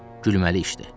Gülməli işdir.